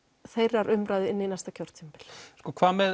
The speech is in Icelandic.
þeirrar umræðu inn í næsta kjörtímabil hvað með